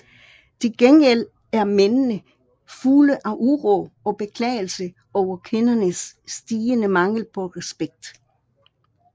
Tilgengæld er mændene fulde af uro og beklagelser over kvindernes stigende mangel på respekt